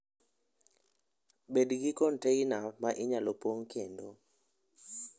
Bed gi container ma inyalo pong' kendo.